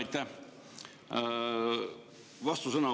Aitäh!